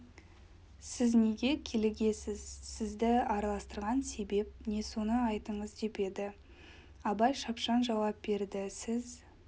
сіз неге килігесіз сізді араластырған себеп не соны айтыңыз деп еді абай шапшаң жауап берді сіз